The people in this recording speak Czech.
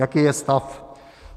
Jaký je stav?